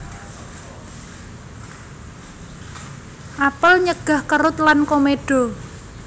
Apel nyegah kerut lan komedo